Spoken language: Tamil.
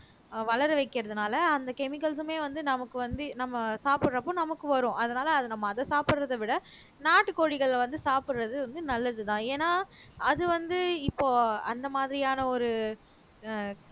வளர வைக்கிறதுனால அந்த chemicals மே வந்து நமக்கு வந்து நம்ம சாப்பிடுறப்போ நமக்கு வரும் அதனால அத நம்ம அத சாப்பிடுறதை விட நாட்டுக்கோழிகளை வந்து சாப்பிடுறது வந்து நல்லதுதான் ஏன்னா அது வந்து இப்போ அந்த மாதிரியான ஒரு